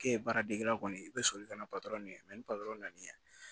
K'e ye baara dege kɔni i bɛ soli ka na ɲini ni patɔrɔn na na